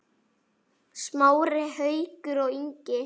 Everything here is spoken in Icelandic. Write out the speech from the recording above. Smári, Haukur og Ingi.